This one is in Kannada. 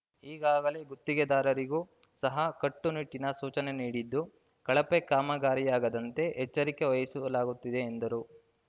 ಈಗಾಗಲೇ ಗುತ್ತಿಗೆದಾರರಿಗೂ ಸಹ ಕಟ್ಟುನಿಟ್ಟಿನ ಸೂಚನೆ ನೀಡಿದ್ದು ಕಳಪೆ ಕಾಮಗಾರಿಯಾಗದಂತೆ ಎಚ್ಚರಿಕೆ ವಹಿಸಲಾಗುತ್ತಿದೆ ಎಂದರು